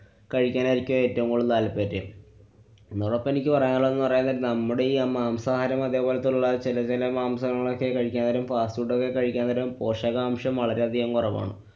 കഴിക്കാനായിരിക്കും ഏറ്റവും കൂടുതല്‍ താല്‍പര്യം. ഒന്നൂടെ ഇപ്പൊ എനിക്ക് ഇപ്പൊ പറയാനുള്ളതെന്ന് പറയാന്‍ നേരം നമ്മുടെയീ മാംസാഹാരം അതെപോലത്തുള്ള ചെല ചെല മാംസങ്ങളൊക്കെ കഴിക്കാന്‍ നേരം fast food ഒക്കെ കഴിക്കാന്‍ നേരം പോഷകാംശം വളരെയധികം കുറവാണ്.